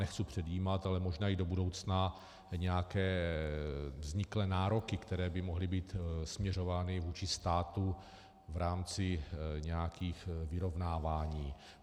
Nechci předjímat, ale možná i do budoucna nějaké vzniklé nároky, které by mohly být směřovány vůči státu v rámci nějakých vyrovnávání.